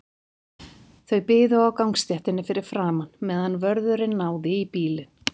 Þeir biðu á gangstéttinni fyrir framan, meðan vörðurinn náði í bílinn.